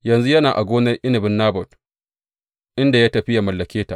Yanzu yana a gonar inabin Nabot, inda ya tafi yă mallake ta.